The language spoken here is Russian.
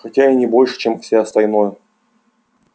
хотя и не больше чем все остальное